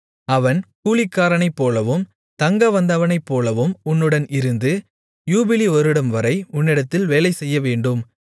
அவன் கூலிக்காரனைப்போலவும் தங்கவந்தவனைப்போலவும் உன்னுடன் இருந்து யூபிலி வருடம்வரை உன்னிடத்தில் வேலைசெய்யவேண்டும்